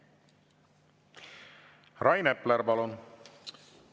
Rain Epler, palun!